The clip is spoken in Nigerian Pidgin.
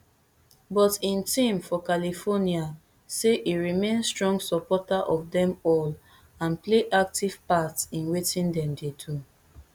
but im team for california say e remain strong supporter of dem all and play active part in wetin dem dey do